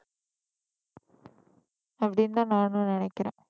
அப்படின்னுதான் நானும் நினைக்கிறேன்